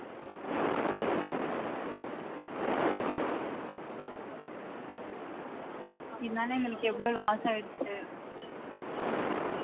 இதுனால எங்களுக்கு எவ்ளோ loss ஆயிடுச்சு